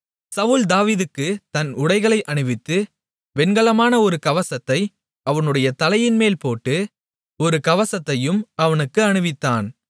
சவுல் தாவீதுக்குத் தன் உடைகளை அணிவித்து வெண்கலமான ஒரு கவசத்தை அவனுடைய தலையின்மேல் போட்டு ஒரு கவசத்தையும் அவனுக்குத் அணிவித்தான்